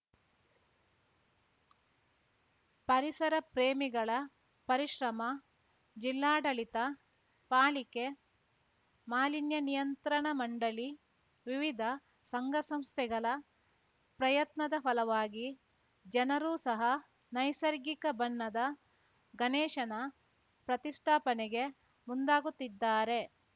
ಪರಿಸರ ಪ್ರೇಮಿಗಳ ಪರಿಶ್ರಮ ಜಿಲ್ಲಾಡಳಿತ ಪಾಲಿಕೆ ಮಾಲಿನ್ಯ ನಿಯಂತ್ರಣ ಮಂಡಳಿ ವಿವಿಧ ಸಂಘಸಂಸ್ಥೆಗಳ ಪ್ರಯತ್ನದ ಫಲವಾಗಿ ಜನರೂ ಸಹ ನೈಸರ್ಗಿಕ ಬಣ್ಣದ ಗಣೇಶನ ಪ್ರತಿಷ್ಟಾಪನೆಗೆ ಮುಂದಾಗುತ್ತಿದ್ದಾರೆ